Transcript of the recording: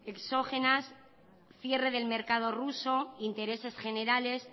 exógenas cierre del mercado ruso intereses generales